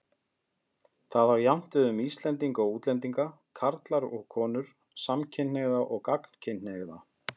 Það á jafnt við um Íslendinga og útlendinga, karla og konur, samkynhneigða og gagnkynhneigða.